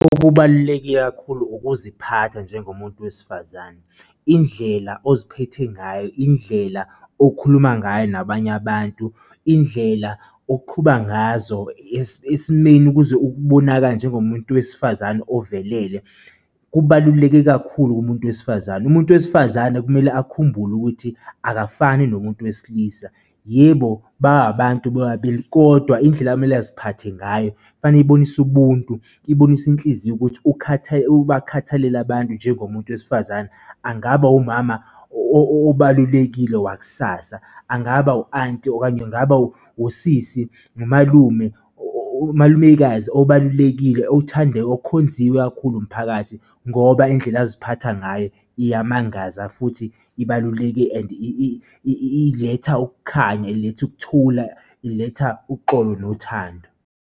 Okubaluleke kakhulu ukuziphatha njengomuntu wesifazane, indlela oziphethe ngayo, indlela okhuluma ngayo nabanye abantu, indlela oqhuba ngazo esimeni ukuze ubonakale njengomuntu wesifazane ovelele, kubaluleke kakhulu kumuntu wesifazane. Umuntu wesifazane kumele akhumbule ukuthi akafani nomuntu wesilisa, yebo, babantu bobabili, kodwa indlela amele aziphathe ngayo kufanele ibonise ubuntu, ibonise inhliziyo ukuthi ubakhathalele abantu njengomuntu wesifazane angaba umama obalulekile wakusasa angaba u-anti okanye angaba wusisi umalume umalumekazi obalulekile owuthande okhonziwe kakhulu umphakathi ngoba indlela aziphatha ngayo iyamangaza futhi ibaluleke and iletha ukukhanya iletha ukuthula iletha uxolo nothando.